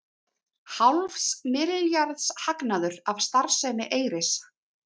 Hálfs milljarðs hagnaður af starfsemi Eyris